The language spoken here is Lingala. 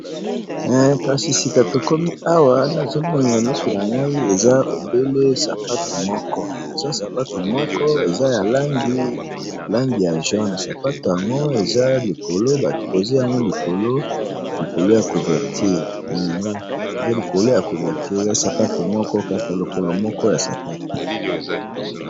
Kasi sika tokomi awa nazomonna misu na ngai eza ebele sapatu moko eza sapatu moko eza ya langi langi ya jaune sapatu yango eza likolo batpozi yango likolo likolo ya couverture likolo ya couverture sapatu moko kaka lokolo moko ya sapatu.